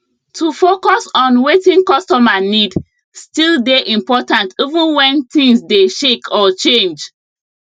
to focus on wetin costumer need still dey important even wen things dey shake or change